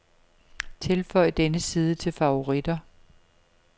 Tilføj denne side til favoritter.